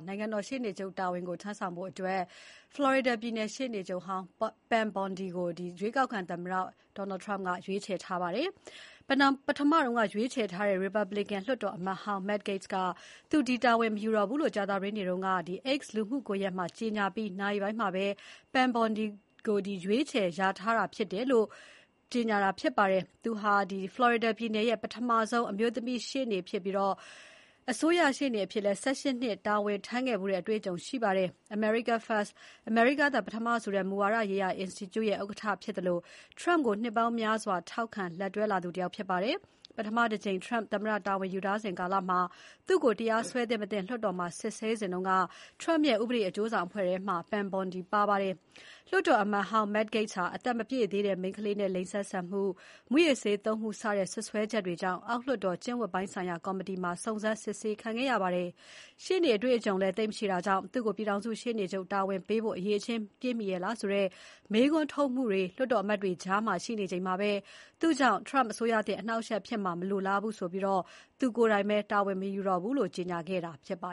နိုင်ငံတော်ရှေ့နေချုပ်အဖြစ်ခန့်ဖို့ ဖလော်ရီဒါပြည်နယ် ရှေ့နေချုပ်ဟောင်း Pam Bondi ကိုရွေးကောက်ခံသမ္မတ Donald Trump က ရွေးချယ်လိုက်ပါတယ်။ ပထမရွေးချယ်ထားတဲ့ ရီပတ်ဘလစ်ကန် လွှတ်တော်အမတ်ဟောင်း Matt Gaetz က သူဒီတာဝန်ကို မယူတော့ဘူးလို့ကြာသပတေးနေ့က X လူမှုကွန်ရက်မှာ ကြေညာပြီး နာရီပိုင်းမှာပဲ Pam Bondi ကို ရွေးချယ်လျာထားခဲ့တာဖြစ်ပါတယ်။ သူဟာ ဖလော်ရီဒါပြည်နယ်ရဲ့ပထမဆုံးအမျိုးသမီးရှေ့နေချုပ်ဖြစ်ပြီး အစိုးရရှေ့နေအဖြစ် ၁၈ နှစ် တာဝန်ထမ်းခဲ့ဖူးတဲ့အတွေ့အကြုံရှိပါတယ်။ America First အမေရိကားသာ ပထမဆိုတဲ့ မူဝါဒရေးရာ အင်စတီကျုရဲ့ ဥက္ကဋ္ဌဖြစ်သလိုTrump ကိုနှစ်ပေါင်းများစွာ ထောက်ခံ လက်တွဲလာသူတယောက်ဖြစ်ပါတယ်။ ပထမတကြိမ် Trump သမ္မတတာဝန်ယူစဉ် ကာလမှာ သူ့ကိုတရားစွဲသင့်မသင့်လွှတ်တော်မှာ စစ်ဆေးစဉ်က Trump ရဲ့ ဥပဒေအကျိုးဆောင်အဖွဲ့ ထဲမှာ Pam Bondi ပါဝင်ခဲ့ပါတယ်။ လွှတ်တော်အမတ်ဟောင်း Matt Gaetz ဟာ အသက်မပြည့်သေးတဲ့ မိန်းခလေးနဲ့ လိင်ဆက်ဆံမှု၊ မူးယစ်ဆေးသုံးမှု စတဲ့စွပ်စွဲချက်တွေကြောင့် အောက်လွှတ်တော် ကျင့်ဝတ်ပိုင်းဆိုင်ရာကော်မတီမှာ စုံစမ်းစစ်ဆေးခံခဲ့ရပါတယ်။ ရှေ့နေအတွေ့အကြုံလည်း သိပ်မရှိတာကြောင့် သူ့ကို ပြည်ထောင်စု ရှေ့နေချုပ်တာဝန်ပေးဖို့ အရည်အချင်းပြည့်မီရဲ့လားဆိုတဲ့ မေးခွန်းထုတ်မှုတွေ လွှတ်တော်အမတ်တွေ ကြား ရှိနေချိန်မှာ သူ့ကြောင့် Trump အစိုးရသစ် အနှောင့်အယှက်ဖြစ်မှာမလိုလားဘူးဆိုပြီး သူကိုယ်တိုင်ပဲ တာဝန်မယူတော့ဘူးလို့ ကြေညာခဲ့တာပါ